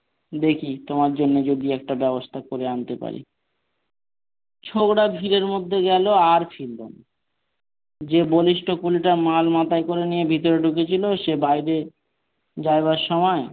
দেখি তোমার জন্য যদি একটা ব্যাবস্থা করে আনতে পারি ছোকড়া ভিড়ের মধ্যে গেল আর ফিরলো না। যে বলিষ্ঠ কুলিটা মাল মাথায় করে নিয়ে ভিতরে ঢুকেছিল সে বাইরে যাবার সময়,